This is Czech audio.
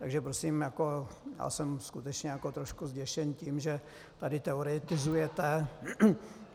Takže prosím, já jsem skutečně trošku zděšen tím, že tady teoretizujete.